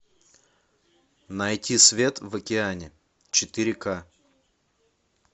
найти свет в океане четыре к